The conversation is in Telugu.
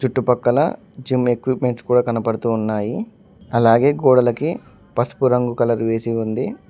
ఇటుపక్కల జిమ్ ఎక్విప్మెంట్ కూడా కనబడుతూ ఉన్నాయి అలాగే గోడలకి పసుపు రంగు కలర్ వేసి ఉంది.